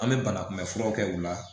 An bɛ banakunbɛn furaw kɛ u la